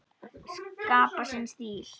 Skapa sinn stíl.